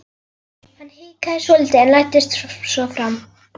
Hann hikaði svolítið en læddist svo fram.